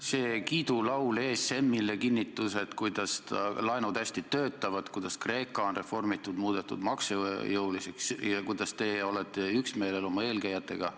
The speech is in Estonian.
See kiidulaul ESM-ile kinnitas, kuidas laenud hästi töötavad, kuidas Kreeka on reformitud, muudetud maksujõuliseks ja kuidas teie olete üksmeelel oma eelkäijatega.